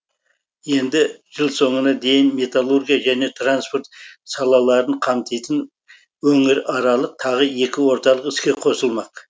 енді жыл соңына дейін металлургия және транспорт салаларын қамтитын өңіраралық тағы екі орталық іске қосылмақ